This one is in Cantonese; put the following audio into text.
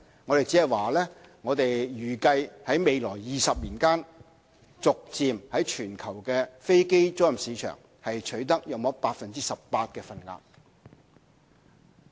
我們只是預計在未來20年間，逐漸在全球飛機租賃市場取得約 18% 的份額。